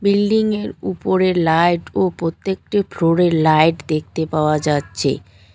Building -এর উপরে light ও প্রত্যেকটি ফ্লোর -এ লাইট দেখতে পাওয়া যাচ্চে।